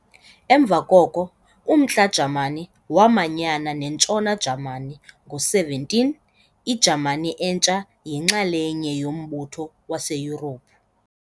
Emva koko, umNtla-Jamani waamanyana neNtshona Jamani ngo-17 Ijamani entsha yinxalenye yombutho waseYurophu.